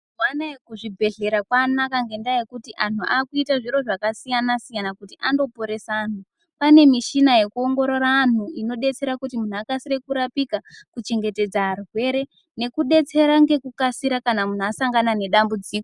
Pane zvibhedhlera kwanaka ngendaa yekuti anhu akuite zviro zvakasiyana siyana kuti andoponese anhu pane mishina yekuoongorora antu inodetsera kuti anhu akasire kurapika kuchengetedza arwere nekudetserw ngekukasira kana munhu asangana nedambudziko.